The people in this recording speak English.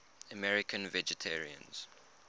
american vegetarians